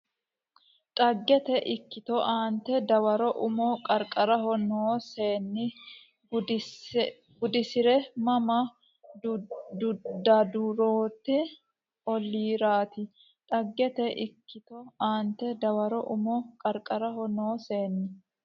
Dhagete ikkito aante Dawaro Umo Qarqaraho noo seenni gudisi re Mama Daadurrete olliiraati Dhagete ikkito aante Dawaro Umo Qarqaraho noo seenni.